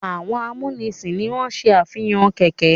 Àwọn amúnisìn ni wọ́n se àfihàn kẹ̀ẹ̀kẹ́.